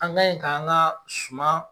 An kaɲe k'an ka suma.